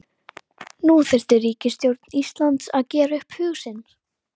Nú þyrfti ríkisstjórn Íslands að gera upp hug sinn.